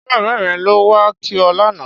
Ṣé bàbá rẹ ló wá kí ọ lánàá?